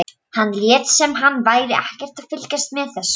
Hann lét sem hann væri ekkert að fylgjast með þessu.